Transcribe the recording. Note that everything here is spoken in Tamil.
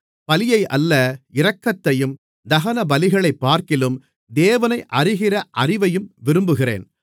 பலியை அல்ல இரக்கத்தையும் தகனபலிகளைப்பார்க்கிலும் தேவனை அறிகிற அறிவையும் விரும்புகிறேன்